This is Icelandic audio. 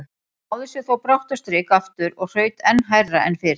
Hún náði sér þó brátt á strik aftur og hraut enn hærra en fyrr.